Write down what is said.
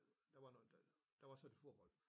Der noget der der var så et forhold